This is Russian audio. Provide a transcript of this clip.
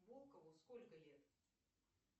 волкову сколько лет